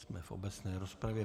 Jsme v obecné rozpravě.